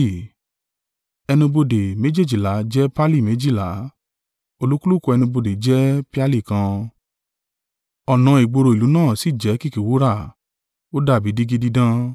Ẹnu ibodè méjèèjìlá jẹ́ perli méjìlá: olúkúlùkù ẹnu ibodè jẹ́ peali kan; ọ̀nà ìgboro ìlú náà sì jẹ́ kìkì wúrà, ó dàbí dígí dídán.